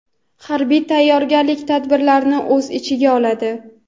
harbiy tayyorgarlik tadbirlarini o‘z ichiga oladi.